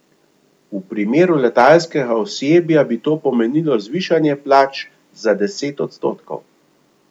V primeru letalskega osebja bi to pomenilo zvišanje plač za deset odstotkov.